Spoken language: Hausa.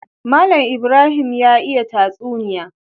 Mallan Ibrahim ya iya tatsuniya